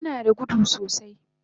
Dila nada gudu sosai